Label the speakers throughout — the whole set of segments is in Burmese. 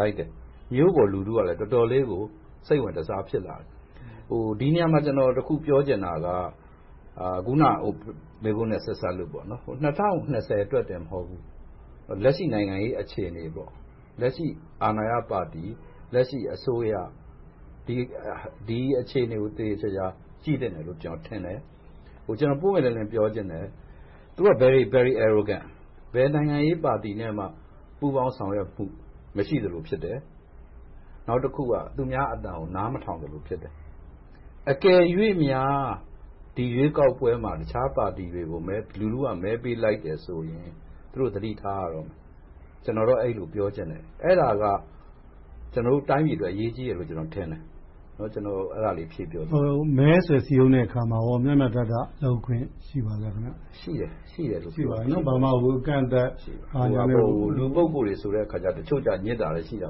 Speaker 1: လိုက်တယ်။ မြို့ပေါ်လူထုကလည်း တော်တော်လေးကို စိတ်ဝင်တစား ဖြစ်လာတယ်။ ဒီနေရာမှာ တခုပြောချင်တာက အခုနမေးခွန်းနဲ့ ဆက်စပ်လို့ ၂၀၂၀ အတွက်တင်မဟုတ်ဘူး လက်ရှိနိုင်ငံရေး အခြေအနေ၊ လက်ရှိအာဏာရပါတီ၊ လက်ရှိအစိုးရ ဒီအခြေအနေကို သေသေချာချာ ကြည့်သင့်တယ်လို့ ကျနော်ထင်တယ်။ ကျနော် ပွင့်ပွင့်လင်းလင်း ပြောချင်တယ် - သူတို့က Very very arrogant ဘယ်နိုင်ငံရေးပါတီနဲ့မှ ပူးပေါင်းဆောင်ရွက်မှု မရှိသလိုဖြစ်တယ်။ နောက်တခုက သူများအသံကို နားမထောင်သလို ဖြစ်တယ်။ အကယ်၍များ ဒီရွေးကောက်ပွဲမှာ တခြားပါတီတွေကို လူထုက မဲပေးလိုက်တယ်ဆိုရင် သူတို့ သတိထားရတော့မယ်။ ကျနော်ကတော့ အဲဒီလို ပြောချင်တယ်။ အဲဒါက ကျနော်တို့ တိုင်းပြည်အတွက် အရေးကြီးတယ်လို့ ကျနော်ထင်တယ်။ အဲဒါလေး ဖြည့်ပြောချင်တယ်။
Speaker 2: မဲဆွယ်စည်းရုံးတဲ့အခါမှာ မျှမျှတတ လုပ်ခွင့်ရှိပါသလား။ ဘာမှအကန့်အသတ် ဘာညာမရှိပါဘူး။
Speaker 1: ရှိပါတယ်။ လူ ပုဂ္ဂိုလ်တွေဆိုတော့ တချို့ကြတော့ ညစ်ချင်တာလည်း ရှိတာ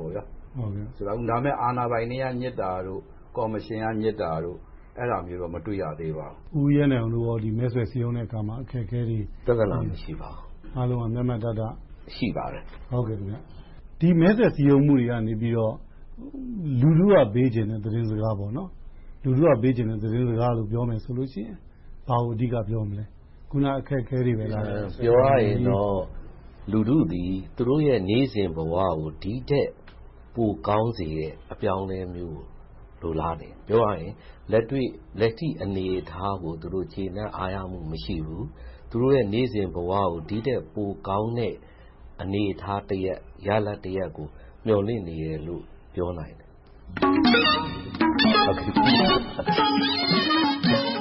Speaker 1: ပေါ့။ ဒါပေမဲ့ အာဏာပိုင်တွေက ညစ်တာတို့၊ ကော်မရှင်က ညစ်တာတို့ အဲဒါမျိုးတော့ မတွေ့ရသေးပါဘူး။
Speaker 2: ဦးရဲနိုင်အောင်တို့ကော မဲဆွယ်စည်းရုံးတဲ့အခါမှာ အခက်အခဲတွေ ရှိပါလား။
Speaker 3: ပြဿနာ မရှိပါဘူး။ မျှမျှတတ ရှိပါတယ်။
Speaker 2: ဒီမဲဆွယ်စည်းရုံးမှုတွေကနေ လူထုက ပေးချင်တဲ့ သတင်းစကားလို့ ပြောမယ်ဆိုလို့ရှိရင် ဘာကိုအဓိကပြောမလဲ။ အခုန အခက်အခဲတွေပဲလား။
Speaker 3: ပြောရရင်တော့ လူထုသည် သူတို့ရဲ့ နေ့စဉ်ဘဝကို ဒီထက်ပိုကောင်းစေတဲ့ အပြောင်းအလဲမျိုးကို လိုလားတယ်။ ပြောရရင် လက်ရှိအနေအထားကို ကျေနပ်အားရမှု မရှိဘူး။ သူတို့ရဲ့ နေ့စဉ်ဘဝကို ဒီထက်ပိုကောင်းတဲ့ အနေအထားတရပ်၊ ရလဒ်တရပ်ကို မျှော်လင့်နေတယ်လို့ ပြောနိုင်တယ်။